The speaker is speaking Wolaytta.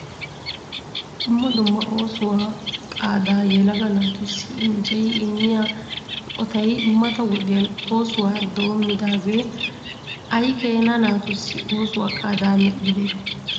Dumma dumma oosuwaa qaada yelaga naatussi injjeyi immiyaa eqotay mata wodiyaan oosuwa doomidaagee ay keena naatussi oosuwaa qaada medhdhide ?